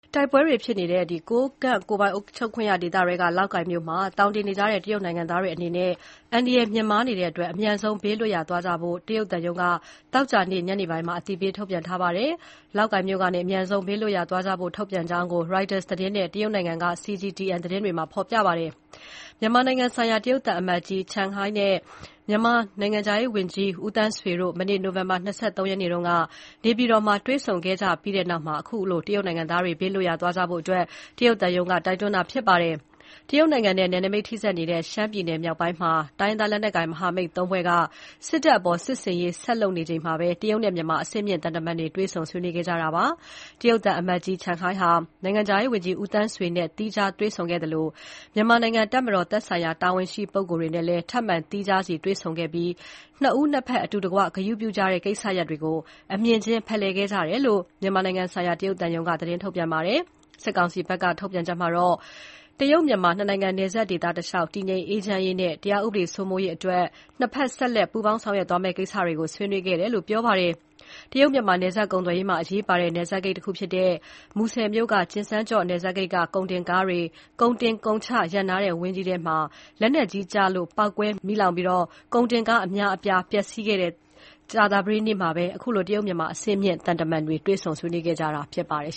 တိုက်ပွဲတွေဖြစ်နေတဲ့ ကိုးကန့်ကိုယ်ပိုင်အုပ်ချုပ်ခွင့်ရဒေသထဲက လောက်ကိုင်မြို့မှာ သောင်တင်နေကြတဲ့ တရုတ်နိုင်ငံသားတွေအနေနဲ့ အန္တရာယ်မြင့်မားနေတဲ့အတွက် အမြန်ဆုံး ဘေးလွတ်ရာသွားကြဖို့ တရုတ်သံရုံးက သောကြာနေ့ ညနေပိုင်းမှာ အသိပေးထုတ်ပြန်ထားပါတယ်။ လောက်ကိုင်မြို့ကနေ အမြန်ဆုံး ဘေးလွတ်ရာသွားကြဖို့ ထုတ်ပြန်ကြောင်း Reuters သတင်းနဲ့ တရုတ်နိုင်ငံက CGTN သတင်းတွေမှာ ဖော်ပြပါတယ်။ မြန်မာနိုင်ငံဆိုင်ရာ တရုတ်သံအမတ်ကြီး Chen Hai နဲ့ မြန်မာနိုင်ငံခြားရေးဝန်ကြီး ဦးသန်းဆွေတို့ မနေ့ နိုဝင်ဘာလ ၂၃ ရက်နေ့က နေပြည်တော်မှာ တွေ့ဆုံခဲ့ကြပြီးနောက်မှာ ခုလို တရုတ်နိုင်ငံသားတွေ ဘေးလွတ်ရာသွားကြဖို့ တရုတ်သံရုံးက တိုက်တွန်းတာ ဖြစ်ပါတယ်။ တရုတ်နိုင်ငံနဲ့ နယ်နိမိတ်ထိဆက်နေတဲ့ ရှမ်းပြည်နယ်မြောက်ပိုင်းမှာ တိုင်းရင်းသားလက်နက်ကိုင် မဟာမိတ် ၃ ဖွဲ့က စစ်တပ်အပေါ် စစ်ဆင်ရေးဆက်လုပ်နေချိန်မှာ တရုတ်နဲ့ မြန်မာအဆင့်မြင့် သံတမန်တွေ တွေ့ဆုံ ဆွေးနွေးခဲ့တာဖြစ်ပါတယ်။ တရုတ်သံအမတ်ကြီး Chen Hai ဟာ နိုင်ငံခြားရေးဝန်ကြီး ဦးသန်းဆွေနဲ့ သီးခြားတွေ့ဆုံခဲ့သလို မြန်မာနိုင်ငံတပ်မတော် သက်ဆိုင်ရာ တာဝန်ရှိပုဂ္ဂိုလ်များနဲ့ ထပ်မံ သီးခြားစီတွေ့ဆုံခဲ့ပြီး နှစ်ဦးနှစ်ဖက်က အတူတကွ ဂရုပြုကြတဲ့ ကိစ္စရပ်တွေကို အမြင်ချင်းဖလှယ်ခဲ့ကြတယ်လို့ မြန်မာနိုင်ငံဆိုင်ရာ တရုတ်သံရုံးက သတင်းထုတ်ပြန်ပါတယ်။ စစ်ကောင်စီဘက်က ထုတ်ပြန်ချက်မှာတော့ မြန်မာ-တရုတ် နှစ်နိုင်ငံ နယ်စပ်ဒေသတစ်လျှောက် တည်ငြိမ်အေးချမ်းရေးနဲ့ တရားဥပဒေ စိုးမိုးရေးအတွက် နှစ်ဖက် ဆက်လက် ပူးပေါင်းဆောင်ရွက်သွားမယ့် ကိစ္စတွေကို ဆွေးနွေးခဲ့တယ်လို့ ပြောပါတယ်။ တရုတ်- မြန်မာ နယ်စပ်ကုန်သွယ်ရေးမှာ အရေးပါတဲ့ နယ်စပ်ဂိတ်တခုဖြစ်တဲ့ မူဆယ်၊ ကျင်စန်းကျော့ နယ်စပ်ဂိတ်က ကုန်တင်ကားတွေ ကုန်တင် ကုန်ချ ရပ်နားတဲ့ ဝန်းထဲမှာ လက်နက်ကြီးကျည်ကျလို့ ပေါက်ကွဲ မီးလောင်ပြီး ကုန်တင်ကား အများအပြာ ပျက်စီးခဲ့တဲ့ ကြာသပတေးနေ့မှာ ခုလို တရုတ် မြန်မာ အဆင့်မြင့် သံတမန်တွေ တွေ့ဆုံဆွေးနွေးခဲ့ကြတာဖြစ်ပါတယ်